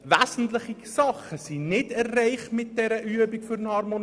Wesentliche Elemente der Harmonisierung werden mit dieser Übung nicht erreicht!